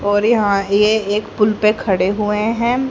और यहां ये एक पुल पे खड़े हुए हैं।